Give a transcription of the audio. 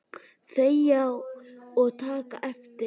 Þegja og taka eftir!